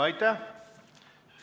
Aitäh!